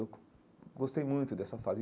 Eu gostei muito dessa fase.